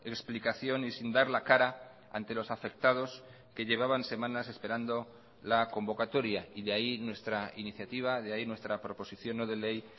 explicación y sin dar la cara ante los afectados que llevaban semanas esperando la convocatoria y de ahí nuestra iniciativa de ahí nuestra proposición no de ley